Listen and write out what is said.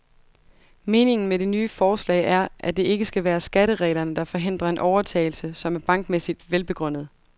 Meningen med det nye forslag er, at det ikke skal være skattereglerne, der forhindrer en overtagelse, som er bankmæssigt velbegrundet.